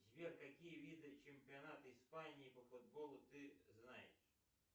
сбер какие виды чемпионат испании по футболу ты знаешь